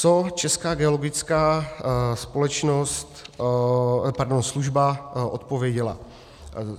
Co Česká geologická společnost, pardon, služba, odpověděla?